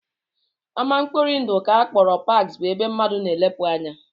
Ama mkpori ndụ nke a kpọrọ parks bụ ebe mmadụ na-elepụ anya